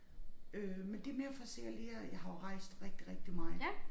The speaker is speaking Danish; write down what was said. Øh men det mere for at se alle de her jeg har jo rejst rigtig rigtig meget